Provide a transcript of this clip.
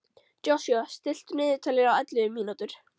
Joshua, stilltu niðurteljara á ellefu mínútur.